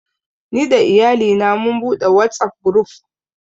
Ni da Iyalina mun buɗe Whatsapp guruf